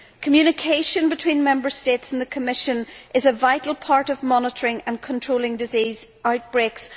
Communication between Member States and the Commission is a vital part of monitoring and controlling disease outbreaks.